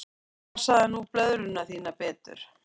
Passaðu nú blöðruna þína betur.